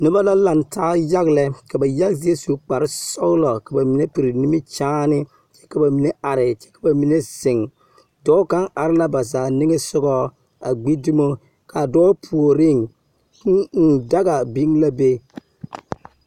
Noba la lantaa yaga lɛ ka ba yaga zie su kparre sɔglo ka ba mine piri nimikyaane kyɛ ka ba mine are kyɛ ka ba mine ziŋ dɔɔ kaŋ are la ba zaa niŋe sɔgɔ a gbi dumo ka a dɔɔ puoriŋ kūū ūū daga be la be.